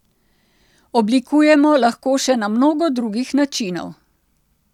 Oblikujemo lahko še na mnogo drugih načinov.